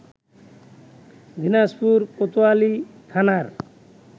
দিনাজপুর কোতোয়ালি থানার